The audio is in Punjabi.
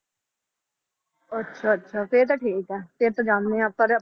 ਅੱਛਾ ਅੱਛਾ ਫਿਰ ਤਾਂ ਠੀਕ ਆ, ਫਿਰ ਤਾਂ ਜਾਂਦੇ ਹਾਂ ਪਰ